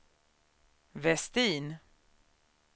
Vestin